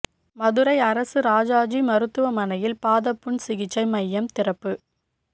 மதுரை அரசு ராஜாஜி மருத்துவமனையில் பாதப் புண் சிகிச்சை மையம் திறப்பு